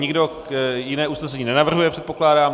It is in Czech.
Nikdo jiné usnesení nenavrhuje, předpokládám.